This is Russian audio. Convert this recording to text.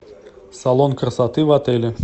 салон красоты в отеле